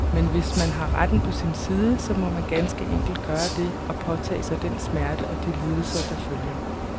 Men hvis man har retten på sin side, så må man ganske enkelt gøre det, og påtage sig den smerte og de lidelser, der følger.